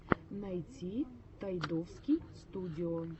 найти тайдовский студио